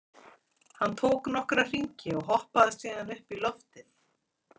Hann tók nokkra hringi og hoppaði síðan upp í loftið.